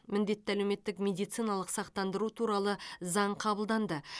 міндетті әлеуметтік медициналық сақтандыру туралы заң қабылданды